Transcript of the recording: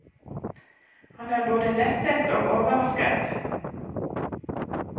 Han er både lettet og overrasket.